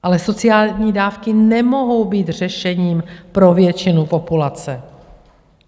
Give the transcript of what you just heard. Ale sociální dávky nemohou být řešením pro většinu populace.